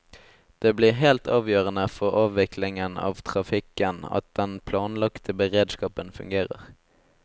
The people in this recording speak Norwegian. Det blir helt avgjørende for avviklingen av trafikken at den planlagte beredskapen fungerer.